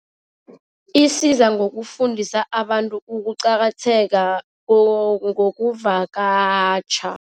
Isiza ngokufundisa abantu ukuqakatheka ngokuvakatjha.